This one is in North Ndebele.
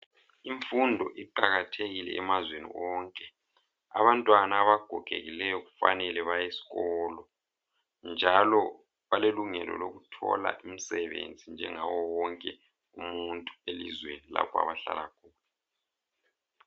Imfundo iqakathekile emazweni onke, abantwana abagogekileyo kufanele bayesikolo njalo balelungelo lokuthola imsebenzi njengaye wonke umuntu elizweni lapha abahlala khona.